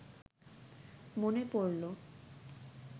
মনে পড়ল